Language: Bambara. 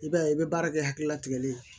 I b'a ye i bɛ baara kɛ hakilila tigɛli ye